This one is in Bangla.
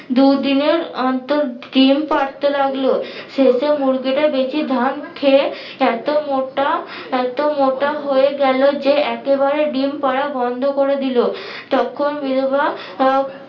দু দিনের অন্তর ডিম পারতে লাগলো শেষে মুরগিটা বেশি ধান খেয়ে এত মোটা এতো মোটা হয়ে গেলো যে একেবারে ডিম পারা বন্ধ করে দিলো তখন বিধবা